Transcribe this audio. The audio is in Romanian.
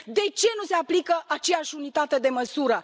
De ce nu se aplică aceeași unitate de măsură?